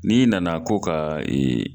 N'i nana ko ka